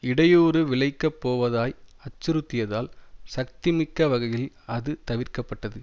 இடையூறு விளைக்கப்போவதாய் அச்சுறுத்தியதால் சக்திமிக்க வகையில் அது தவிர்க்கப்பட்டது